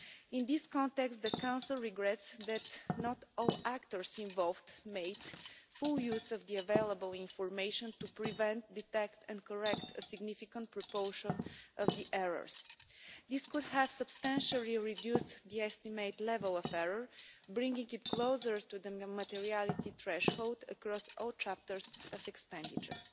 In this context, the Council regrets that not all actors involved made full use of the available information to prevent, detect and correct a significant proportion of the errors. This could have substantially reduced the estimated level of error, bringing it closer to the materiality threshold across all chapters of expenditure.